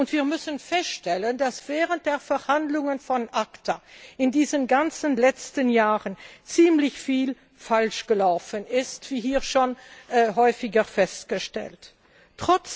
Und wir müssen feststellen, dass während der Verhandlungen von ACTA in diesen ganzen letzten Jahren ziemlich viel falsch gelaufen ist, wie hier schon häufiger festgestellt wurde.